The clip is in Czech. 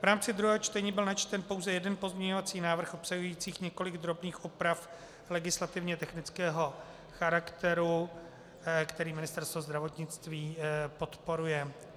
V rámci druhého čtení byl načten pouze jeden pozměňovací návrh obsahující několik drobných oprav legislativně technického charakteru, který Ministerstvo zdravotnictví podporuje.